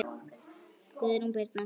Guðrún Birna.